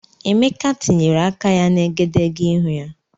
Emeka tinyere aka ya na egedegeihū ya.